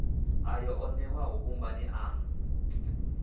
ayo o newaho vhumbani anu